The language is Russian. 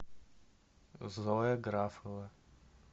зоя графова